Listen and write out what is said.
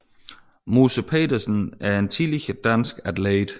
Musse Petersen er en tidligere dansk atlet